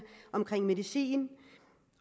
i medicin